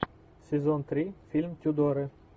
сезон три фильм тюдоры